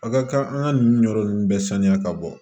A ka kan an ka nin yɔrɔ ninnu bɛɛ saniya ka bɔ